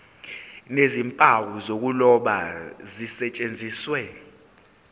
nezimpawu zokuloba zisetshenziswe